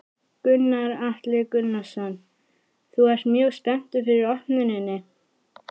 Gunnar Atli Gunnarsson: Þú ert mjög spenntur fyrir opnuninni?